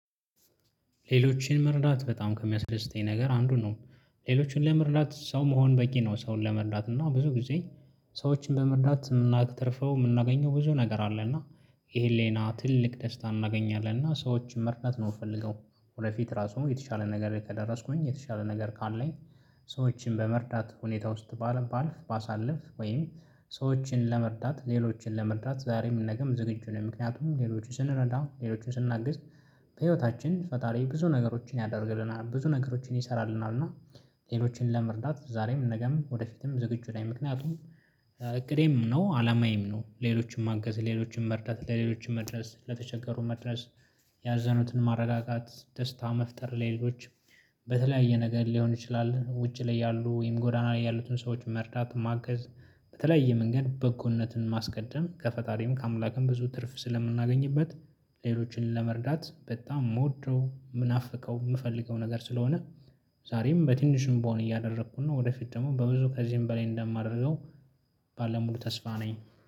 ሌሎችን መርዳት በጣም ከሚያስደስተኝ ነገር አንዱ ነው። ሌሎችን ለመርዳት ሰው መሆን በቂ ነው ሰውን ለመርዳት እና ብዙ ጊዜ ሰዎችን በመርዳት የምናተርፈው የምናገኘው ብዙ ነገር አለ። እና ይሄን ሌኔ ትልቅ ደስታ እናገኛለን እና ሰዎች መርነት ነው የምፈልገው። ወደፊት ራሱ የተሻለ ነገር ከደረስኩኝ የተሻለ ነገር ካለኝ። ሰዎችን በመርዳት ሁኔታ ውስጥ ባለፍ ባሳልፍ ወይም ሰዎችን ለመርዳት ሌሎችን ለመርዳት ዛሬ የምንነግር ዝግጁ ነው ምክንያቱም ሌሎችን ስንረዳ ሌሎችን ስንናግስ። በህይወታችን ፈጣሪ ብዙ ነገሮችን ያደርግልናል ብዙ ነገሮችን ይሰራልናል። እና ሌሎችን ለመርዳት ዛሬም ነገም ወደፊትም ዝግጁ ላይ ምክንያቱም። እቅዴም ነው አላማዬም ነው ሌሎችን ማገዝ ሌሎችን መርዳት ለሌሎችን መድረስ ለተቸገሩ መድረስ። ያዘኑትን ማረጋጋት ደስታ መፍጠር ሌሎች። በተለያየ ነገር ሊሆን ይችላል ውጪ ላይ ያሉ ወይም ጎዳና ላይ ያሉትን ሰዎችን መርዳት ማገዝ። በተለያየ መንገድ በጎነትን ማስቀደም ከፈጣሪም ከአምላክም ብዙ ትርፍ ስለምናገኝበት። ሌሎችን ለመርዳት በጣም የምወደው የምናፍቀው የምፈልገው ነገር ስለሆነ። ዛሬም በትንሹም በሆነ እያደረኩና ወደፊት ደግሞ በብዙ ከዚህም በላይ እንደማደርገው። ባለሙሉ ተስፋ ነኝ